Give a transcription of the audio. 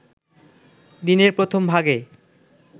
দিনের প্রথমভাগে